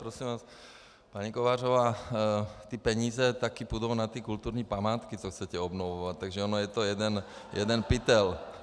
Prosím vás, paní Kovářová, ty peníze taky půjdou na ty kulturní památky, co chcete obnovovat, takže on je to jeden pytel.